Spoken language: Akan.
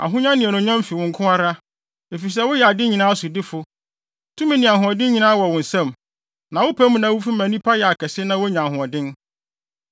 Ahonya ne anuonyam fi wo nko ara, efisɛ woyɛ ade nyinaa sodifo. Tumi ne ahoɔden nyinaa wɔ wo nsam na wopɛ mu na wufi ma nnipa yɛ kɛse na wonya ahoɔden.